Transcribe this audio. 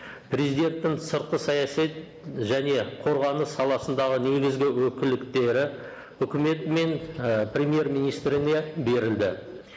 президенттің сыртқы саяси және қорғаныс саласындағы негізгі үкіметі мен і премьер министріне берілді